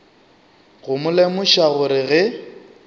go mo lemoša gore ge